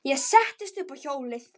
Ég settist upp á hjólið.